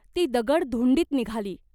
ती दगड धुंडीत निघाली.